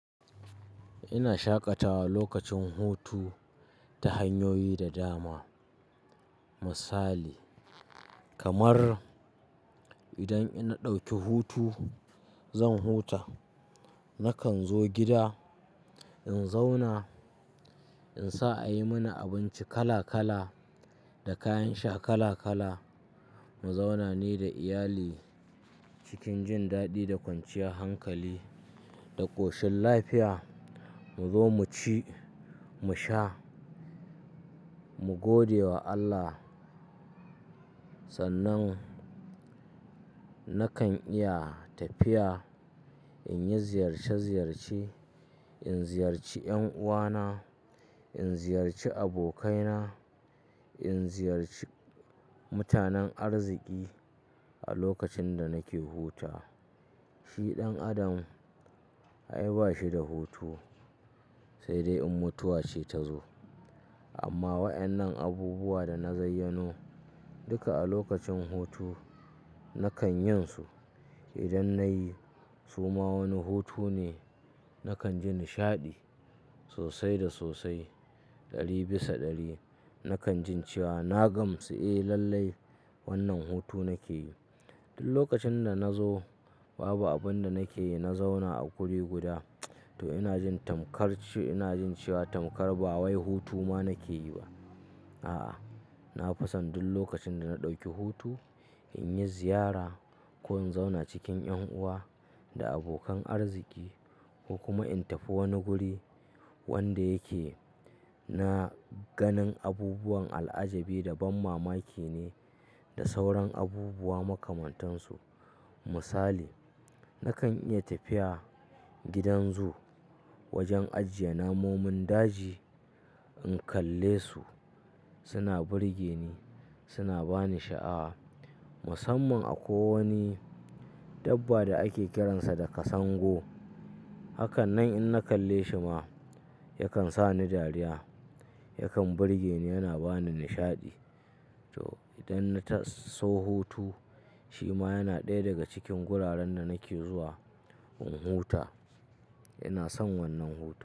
Ina shaƙatawa lokacin hutu ta hanyoyi da dama. Misali kamar idan in na ɗauki hutu, zan huta. Nakan zo gida in zauna, in sa ayi mini abinci kala-kala da kayan sha kala-kala. Mu zauna ni da iyali cikin jin daɗi da kwanciyar hankali da ƙoshin lafiya. Mu zo mu ci, mu sha, mu gode wa Allah. Sannan nakan iya tafiya in yi ziyarce-ziyarce. In ziyarci ƴan'uwana, in ziyarci abokaina, in ziyarci mutanen arziki a lokacin da nake huta. Shi ɗan adam ai ba shi da hutu, sai dai in mutuwa ce ta zo. Amma waƴannan abubuwa da na zayyano, duka a lokacin hutu nakan yin su. Idan nayi su ma wani hutu ne, nakan ji nishaɗi sosai da sosai. Ɗari bisa ɗari. Nakan jin cewa na gamsu. Eh lallai, wannan hutu nake yi. Duk lokacin da nazo babu abin da nake yi, na zauna a wuri guda, to ina jin tamkar, ina jin cewa tamkar ba wai hutu ma nake yi ba. A'a, na fisan duk lokacin da na ɗauki hutu in yi ziyara ko in zauna cikin ƴan'uwa da abokan arziki ko kuma in tafi wani guri wanda yake na ganin abubuwan al'ajabi da banmamaki ne da sauran abubuwa makamantan su. Misali, nakan iya tafiya gidan zoo wajen ajiye namun daji. In kalle su suna burge ni, suna bani sha'a. Musamman akwai wani dabba da ake kiransa da kasango. Hakanan in na kalle shi ma yakan sa ni dariya, yakan burge ni yana bani nishaɗi. To idan na taso hutu, shi ma yana ɗaya daga cikin guraren da nake zuwa in huta. Ina son wannan hutu.